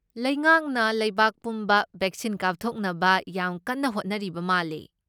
ꯂꯩꯉꯥꯛꯅ ꯂꯩꯕꯥꯛ ꯄꯨꯝꯕ ꯕꯦꯛꯁꯤꯟ ꯀꯥꯞꯊꯣꯛꯅꯕ ꯌꯥꯝ ꯀꯟꯅ ꯍꯣꯠꯅꯔꯤꯕ ꯃꯥꯜꯂꯦ꯫